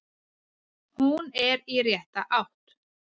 Hún er í rétta átt.